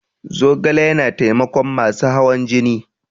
Zogale yana taimakon masu hawan jini.